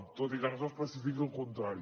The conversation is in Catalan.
tot i que no s’especifiqui el contrari